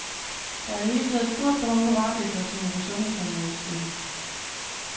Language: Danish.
Der er i det hele taget et stort behov for varedeklarationer på sundhedsområdet, siger hun.